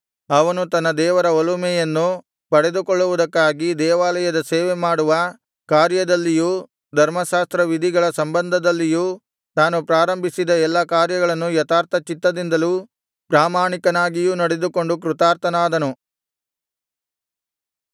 ಅವನು ತನ್ನ ದೇವರ ಒಲುಮೆಯನ್ನು ಪಡೆದುಕೊಳ್ಳುವುದಕ್ಕಾಗಿ ದೇವಾಲಯದ ಸೇವೆ ಮಾಡುವ ಕಾರ್ಯದಲ್ಲಿಯೂ ಧರ್ಮಶಾಸ್ತ್ರವಿಧಿಗಳ ಸಂಬಂಧದಲ್ಲಿಯೂ ತಾನು ಪ್ರಾರಂಭಿಸಿದ ಎಲ್ಲಾ ಕಾರ್ಯಗಳನ್ನು ಯಥಾರ್ಥಚಿತ್ತದಿಂದಲೂ ಪ್ರಾಮಾಣಿಕನಾಗಿಯೂ ನಡೆದುಕೊಂಡು ಕೃತಾರ್ಥನಾದನು